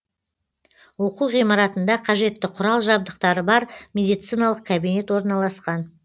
оқу ғимаратында қажетті құрал жабдықтары бар медициналық кабинет орналасқан